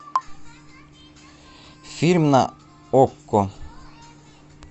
фильм на окко